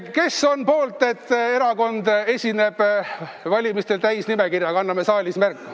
Kes on poolt, et erakond esineb valimistel täisnimekirjaga?